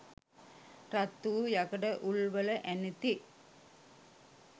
රත් වූ යකඩ උල්වල ඇනෙති.